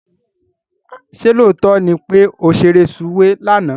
Ṣé lóòótọ́ ni pé ó ṣeré sùwé lánàá?